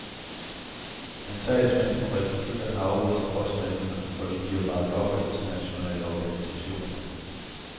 Men talsmænd for republikkerne afviser påstandene, og de bliver bakket op af internationale organisationer.